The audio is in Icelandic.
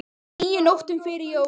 níu nóttum fyrir jól